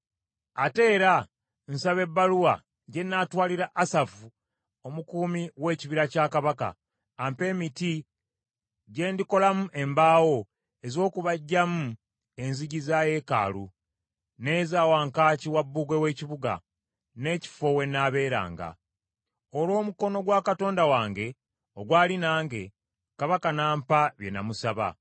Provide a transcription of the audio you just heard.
Ate era nsaba ebbaluwa gye nnaatwalira Asafu omukuumi w’ekibira kya kabaka, ampe emiti gye ndikolamu embaawo ez’okubajjamu enzigi za yeekaalu, n’eza wankaaki wa bbugwe w’ekibuga, n’ekifo we nnaabeeranga.” Olw’omukono gwa Katonda wange ogwali nange, kabaka n’ampa bye namusaba.